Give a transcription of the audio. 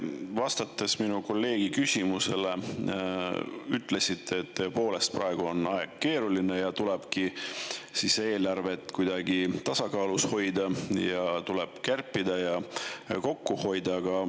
Te vastates minu kolleegi küsimusele ütlesite, et tõepoolest, praegu on aeg keeruline ja tuleb eelarvet kuidagi tasakaalus hoida ja tuleb kärpida ja kokku hoida.